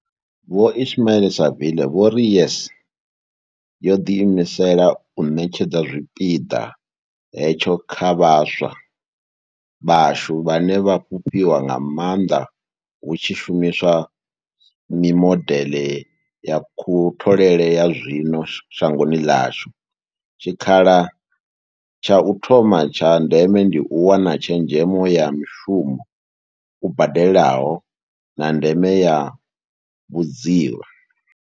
Vho Ismail-Saville vho ri YES yo ḓi imisela u ṋetshedza zwipiḓa hetsho kha vhaswa vhashu, vhane vha a fhufhiwa nga maanḓa hu tshi shumi swa mimodeḽe ya kutholele ya zwino shangoni ḽashu, tshikhala tsha u thoma tsha ndeme ndi u wana tshezhemo ya mushumo u badelaho, na ndeme ya vhudzivha.